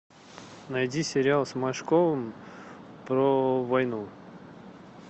найди сериал с машковым про войну